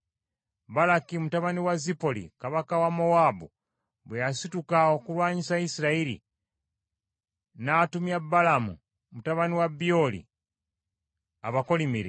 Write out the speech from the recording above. Balaki mutabani wa Zipoli, kabaka wa Mowaabu, bwe yasituka okulwanyisa Isirayiri, n’atumya Balamu mutabani wa Byoli abakolimire;